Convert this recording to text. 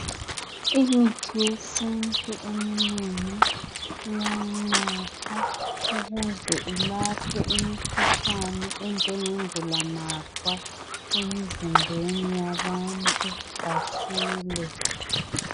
Imithi yesintu eminengi iyanathwa ukuze ilaphe imikhuhlane enjenge ngulamakhwa emizimbeni yabantu basile.